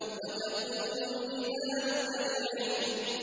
وَتَكُونُ الْجِبَالُ كَالْعِهْنِ